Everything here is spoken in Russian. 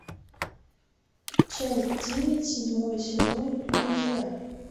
часть девять седьмой сезон друзья